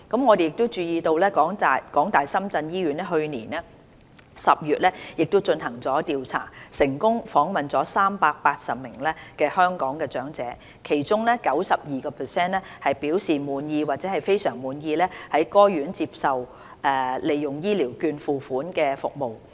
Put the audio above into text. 我們注意到，港大深圳醫院去年10月進行調查，成功訪問380名香港長者，其中 92% 表示滿意或非常滿意在該院接受而利用醫療券付款的服務。